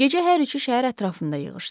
Gecə hər üçü şəhər ətrafında yığışdı.